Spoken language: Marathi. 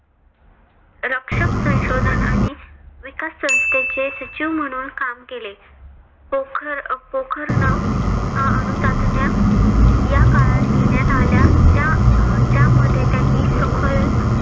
रक्षक संशोधन आणि विकास संस्थेचे सचिव म्हणून काम केले. पोखर पोखरण हा अणुचाचण्या या काळात घेण्यात आल्या ज्या ज्यामध्ये त्यांनी सखोल